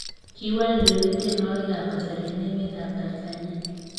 Kiwal Dully teinwakik ab kasari en emet ab Tanzania